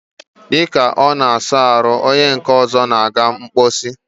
dịka ọ na-asa ahụ, onye nke ọzọ na-aga mkposi.